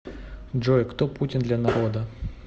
джой кто путин для народа